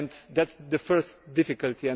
That is the first difficulty.